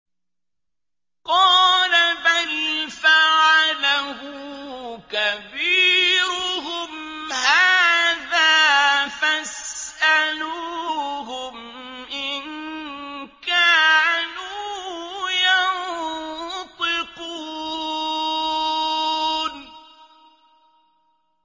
قَالَ بَلْ فَعَلَهُ كَبِيرُهُمْ هَٰذَا فَاسْأَلُوهُمْ إِن كَانُوا يَنطِقُونَ